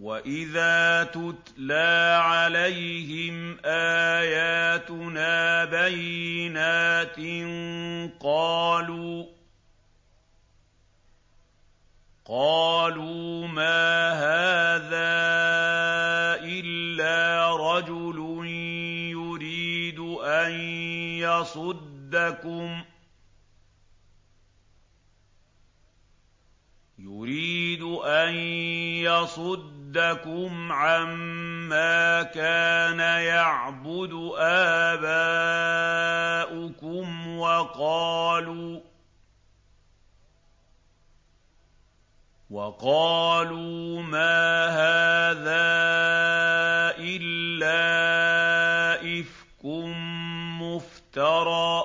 وَإِذَا تُتْلَىٰ عَلَيْهِمْ آيَاتُنَا بَيِّنَاتٍ قَالُوا مَا هَٰذَا إِلَّا رَجُلٌ يُرِيدُ أَن يَصُدَّكُمْ عَمَّا كَانَ يَعْبُدُ آبَاؤُكُمْ وَقَالُوا مَا هَٰذَا إِلَّا إِفْكٌ مُّفْتَرًى ۚ